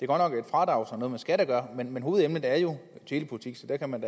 godt nok et fradrag som har noget med skat at gøre men hovedemnet er jo telepolitik så der kan man